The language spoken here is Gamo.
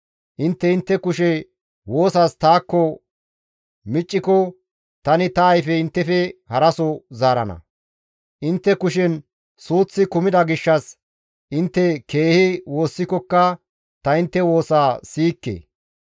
Intte intte kushe woosas taakko micciko tani ta ayfe inttefe haraso zaarana; intte kushen suuththi kumida gishshas intte keehi woossikokka ta intte woosa siyikke.